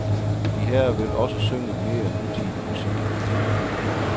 De herrer vil også synge mere nutidig musik.